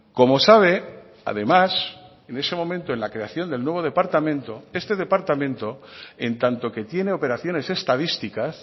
como sabe además en ese momento en la creación del nuevo departamento este departamento en tanto que tiene operaciones estadísticas